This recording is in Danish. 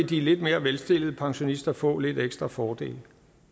de lidt mere velstillede pensionister få lidt ekstra fordele